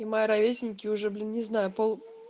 и мои ровесники уже блин не знаю пол